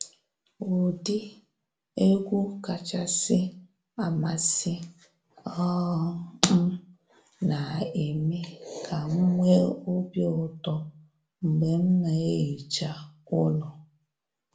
Ụdị egwu kachasị amasị um m na eme ka m nwee obi ụtọ mgbe m na ehicha ụlọ.